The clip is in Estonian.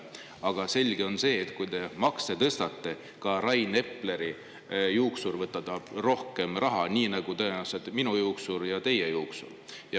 Aga selge on see, et kui te makse tõstate, siis ka Rain Epleri juuksur tahab võtta rohkem raha, nii nagu tõenäoliselt ka minu juuksur ja teie juuksur.